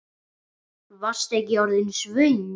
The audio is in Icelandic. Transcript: Varstu ekki orðin svöng?